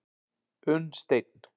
Unnsteinn